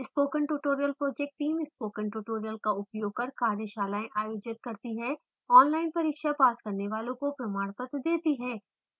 spoken tutorial project teamspoken tutorial का उपयोग कर कार्यशालाएं आयोजित करती है ऑनलाइन परीक्षा पास करने वालों को प्रमाण पत्र देती है